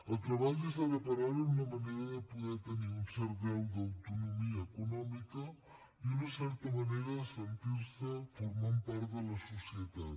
el treball és ara per ara una manera de poder tenir un cert grau d’autonomia econòmica i una certa manera de sentir se formant part de la societat